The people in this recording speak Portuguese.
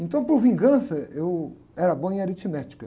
Então, por vingança, eu era bom em aritmética.